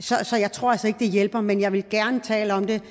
så jeg tror altså ikke det hjælper men jeg vil gerne tale om det